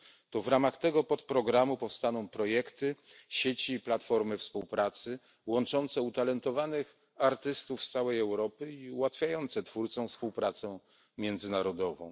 To w ramach tego podprogramu powstaną projekty, sieci i platformy współpracy łączące utalentowanych artystów z całej Europy i ułatwiające twórcom współpracę międzynarodową.